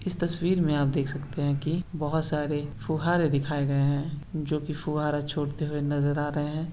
S तस्वीर मे आप देख सकते है की बहुत सारे फुहारे दिखाए गए है जो की फुहारा छोड़ते हुये नज़र आ रहे है।